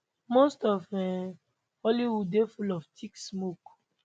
most of um hollywood dey full of thick smoke